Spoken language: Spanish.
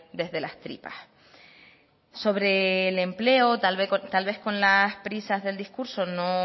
desde las tripas sobre el empleo tal vez con las prisas del discurso no